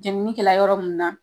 Jenini kɛla yɔrɔ mun na.